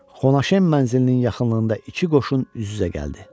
Xonaşem mənzilinin yaxınlığında iki qoşun üz-üzə gəldi.